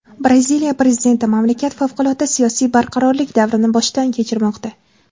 Braziliya prezidenti: mamlakat favqulodda siyosiy barqarorlik davrini boshdan kechirmoqda.